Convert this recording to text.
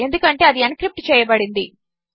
ఎందుకంటేఅదిఎన్క్రిప్ట్చేయబడింది